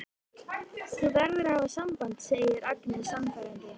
Þú verður að hafa samband, segir Agnes sannfærandi.